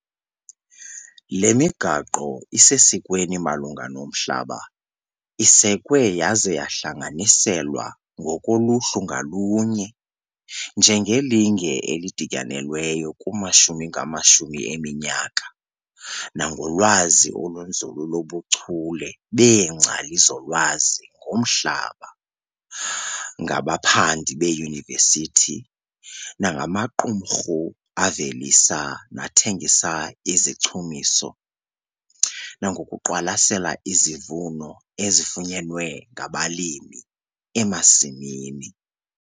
Le migaqo isesikweni malunga nomhlaba isekwe yaza yahlanganiselwa ngokoluhlu ngalunye njengelinge elidityanelweyo kumashumi ngamashumi eminyaka nangolwazi olunzulu lobuchule beengcali zolwazi ngomhlaba, ngabaphandi beeyunivesithi, nangamaqumrhu avelisa nathengisa izichumiso, nangokuqwalasela izivuno ezifunyenwe ngabalimi emasimini.